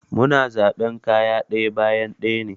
Mu na zaɓan kayan ɗaya bayan ɗaya ne.